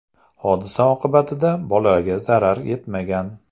Hodisa oqibatida bolaga zarar yetmagan.